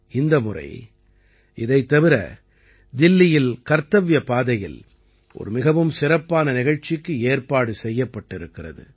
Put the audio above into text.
இந்த முறை இதைத் தவிர தில்லியில் கர்த்தவ்ய பாதையில் ஒரு மிகவும் சிறப்பான நிகழ்ச்சிக்கு ஏற்பாடு செய்யப்பட்டிருக்கிறது